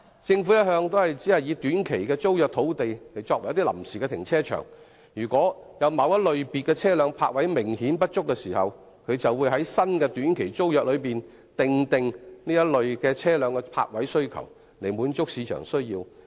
政府一向只以短期租約土地作為臨時停車場，如果有某類車輛的泊車位明顯不足，便在新的短期租約訂明該類車輛的泊位需求，以滿足市場的需要。